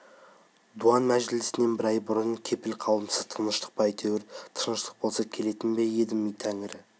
дуан мәжілісінен бір ай бұрын келіп қалыпсыз тыныштық па әйтеуір тыныштық болса келетін бе едім тәңірі